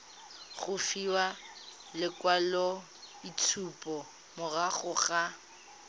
go fiwa lekwaloitshupo morago ga